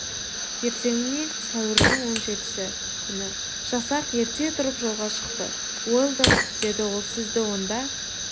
ертеңіне сәуірдің он жетісі күні жасақ ерте тұрып жолға шықты уэлдон деді ол сізді онда